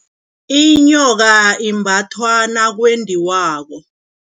Inyoka imbathwa nakwendiwako.